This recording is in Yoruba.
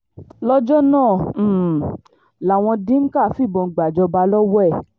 lọ́jọ́ náà um làwọn dimka fìbọn gbàjọba lọ́wọ́ ẹ̀